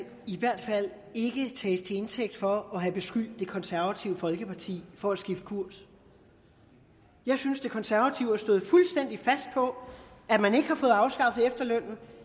i hvert fald ikke tages til indtægt for at have beskyldt det konservative folkeparti for at skifte kurs jeg synes de konservative har stået fuldstændig fast på at man ikke har fået afskaffet efterlønnen